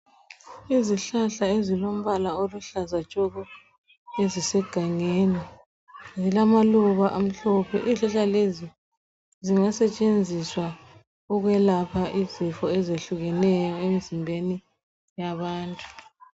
Izihlahla ezilimbala oluhlaza tshoko ezisegangeni zilamaluba amhlophe izihlahla lezi zingasetshenziswa zingasetshenziswa ukuyelapha izifo ezehlukeneyo emzimbeni yabantu